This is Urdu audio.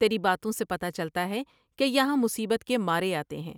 تیری باتوں سے پتہ چلتا ہے کہ یہاں مصیبت کے مارے آتے ہیں ۔